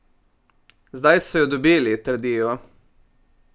Zdaj so jo dobili, trdijo!